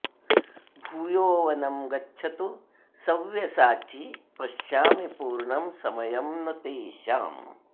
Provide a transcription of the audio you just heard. भूयो वनं गच्छतु सव्यसाची पश्यामि पूर्णं समयं न तेषाम्